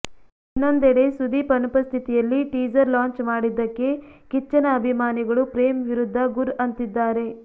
ಇನ್ನೊಂದೆಡೆ ಸುದೀಪ್ ಅನುಪಸ್ಥಿತಿಯಲ್ಲಿ teaser launch ಮಾಡಿದ್ದಕ್ಕೆ ಕಿಚ್ಚನ ಅಭಿಮಾನಿಗಳು ಪ್ರೇಮ್ ವಿರುದ್ಧ ಗುರ್ ಅಂತಿದ್ದಾರೆ